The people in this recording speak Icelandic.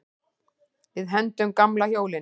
Við hendum gamla hjólinu.